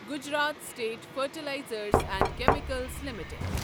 Gujarat state fertilizers تہِ chemicals limited